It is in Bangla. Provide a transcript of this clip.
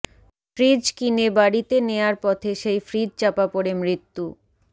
ফ্রিজ কিনে বাড়িতে নেয়ার পথে সেই ফ্রিজ চাপা পড়ে মৃত্যু